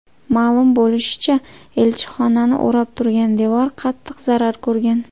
Ma’lum bo‘lishicha, elchixonani o‘rab turgan devor qattiq zarar ko‘rgan.